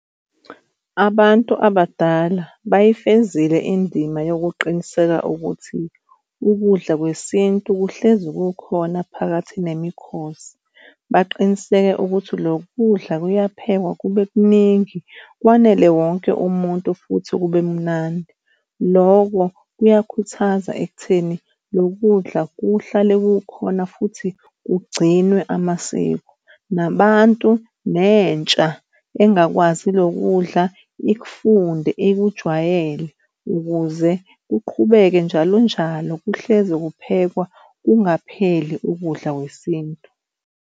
Abantu abadala bayifezile indima yokuqiniseka ukuthi ukudla kwesintu kuhlezi kukhona phakathi nemikhosi. Baqiniseka ukuthi lokhu kudla kuyaphekwa kube kuningi kwanele wonke umuntu futhi kube mnandi. Loko kuyakhuthaza ekutheni loku kudla kuhlale kukhona futhi kugcinwe amasiko nabantu nentsha engakwazi lokhu kudla ikufunde ikujwayele ukuze kuqhubeke njalonjalo. Kuhlezi kuphekwa, kungapheli ukudla kwesintu.